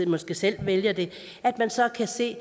måske selv vælger det så kan se